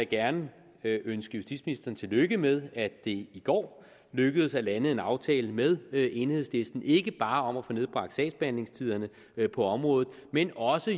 gerne ønske justitsministeren tillykke med at det i går lykkedes at lande en aftale med enhedslisten ikke bare om at få nedbragt sagsbehandlingstiderne på området men jo også